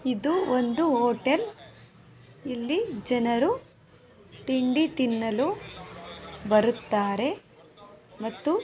ಇದು ಒಂದು ಹೋಟೆಲ್ . ಇಲ್ಲಿ ಜನರು ತಿಂಡಿ ತಿನ್ನಲು ಬರುತ್ತಾರೆ ಮತ್ತು--